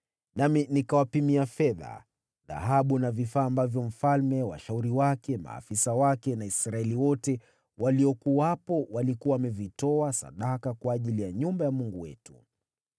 nami nikawapimia fedha, dhahabu na vifaa ambavyo mfalme, washauri wake, maafisa wake na Israeli wote waliokuwepo walikuwa wamevitoa sadaka kwa ajili ya nyumba ya Mungu wetu.